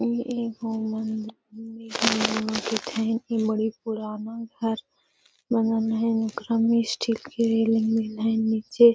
इ एगो मंदिर इ बड़ी पुराना घर बनल है इकरा में स्टील के रेलिंग देल है नीचे।